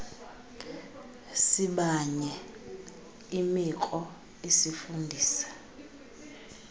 sibanye imikro isifundisa